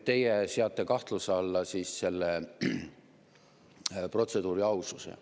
Teie seate kahtluse alla selle protseduuri aususe.